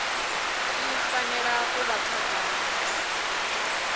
i fanela u vha khagala